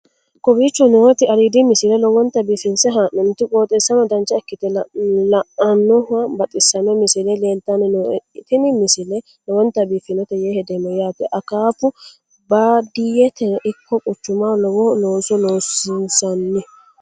kowicho nooti aliidi misile lowonta biifinse haa'noonniti qooxeessano dancha ikkite la'annohano baxissanno misile leeltanni nooe ini misile lowonta biifffinnote yee hedeemmo yaate akaafu baadiyyeteno ikko quchumahono lowo looso loosiinsanni